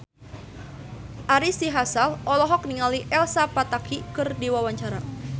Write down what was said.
Ari Sihasale olohok ningali Elsa Pataky keur diwawancara